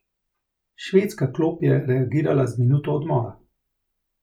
Švedska klop je reagirala z minuto odmora.